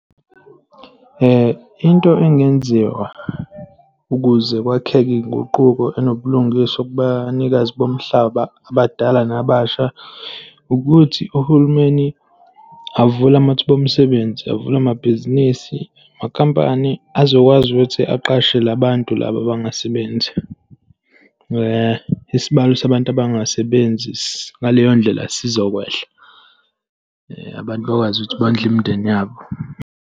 Into engenziwa ukuze kwakheke iy'nguquko enobulungiswa kubanikazi bomhlaba, abadala nabasha, ukuthi uhulumeni avule amathuba omsebenzi, avule amabhizinisi. Amakhampani azokwazi ukuthi aqashe la bantu laba abangasebenzi. Isibalo sabantu abangasebenzi, ngaleyo ndlela sizokwehla. Abantu bakwazi ukuthi bondle imindeni yabo.